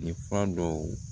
Ni fura dɔw